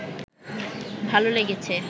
ভালো লেগেছে